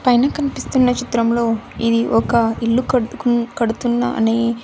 పైన కన్పిస్తున్న చిత్రంలో ఇది ఒక ఇల్లు కట్టుకున్ కడుతున్నా అని--